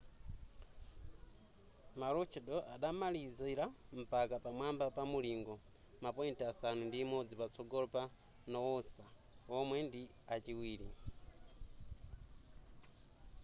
maroochydore adamalizira mpaka pamwamba pa mulingo ma point asanu ndi imodzi patsogolo pa noosa womwe ndi achiwiri